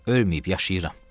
Ölməyib yaşayıram.